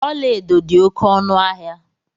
Ọla edo dị oké ọnụ ahịa.